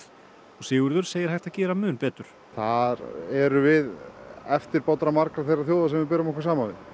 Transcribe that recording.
Sigurður segir hægt að gera mun betur þar erum við eftirbátar margra þeirra þjóða sem við berum okkur saman við